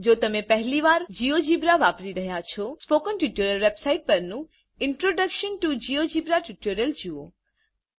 જો તમે પહેલી વાર જીઓજીબ્રા વાપરી રહ્યા છો સ્પોકન ટ્યુટોરીયલ વેબ સાઈટપરનું ઇન્ટ્રોડક્શન ટીઓ જિયોજેબ્રા ટ્યુટોરીયલ જુઓ